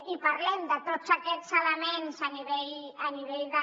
i parlem de tots aquests elements a nivell de